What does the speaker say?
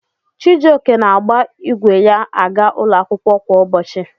Chijioke na-agba igwe ya aga ụlọ akwụkwọ kwa ụbọchị.